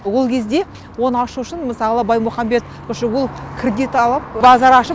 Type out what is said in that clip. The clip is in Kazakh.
ол кезде оны ашу үшін мысалы баймұхамбет қосшығұлов кредит алып базар ашып